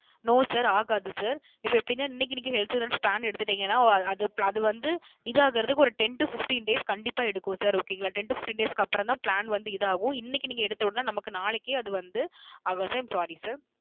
No Sir ஆகாது Sir இப்போ எப்படின இன்னிக்கு நீங்க Health Insurance எடுத்துட்டிங்கனா அது வந்து இது ஆகுறதுக்கு Ten To Fifteen Days கண்டிப்பா எடுக்கும் Sir Okay ங்கள Sir Ten To Fifteen Days க்கு அப்புறம் தான் Plan வந்து இது ஆகும் இன்னிக்கு நீங்க எடுத்தவுடனே நமக்கு நாளைக்கே அது வந்து ஆகாது SirI am Sorry Sir